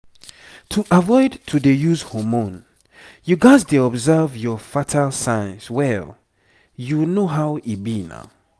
to avoid to dey use hormone you gats dey observe your fertile signs well you know how e be na.